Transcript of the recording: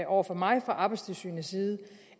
over for mig fra arbejdstilsynets side